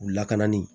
U lakanani